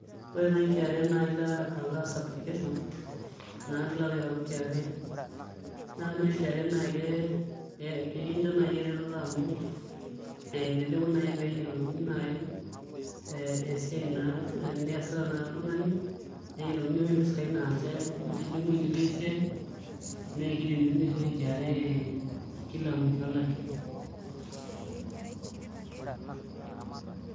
Ore nai KRA naa ailo aas application naa piilo Itayu KRA naa ore nai KRA naa ke kakincho nai eretoto amu ee eleleku nai peeyielouni nai ee esiae naa niyasita nai oltungani neyielouni nai impisai naanche intijingu itii esiae neekiriniuni sioshi KRA Kila musho olari.